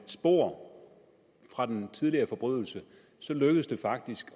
spor fra den tidligere forbrydelse lykkedes det faktisk